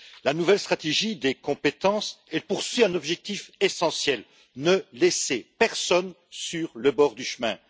La nouvelle stratégie en matière de compétences poursuit un objectif essentiel ne laisser personne sur le bord du chemin.